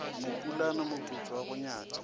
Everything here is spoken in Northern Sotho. mopulana moputso wa go nyatša